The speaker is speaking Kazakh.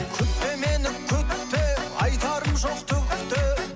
күтпе мені күтпе айтарым жоқ түк те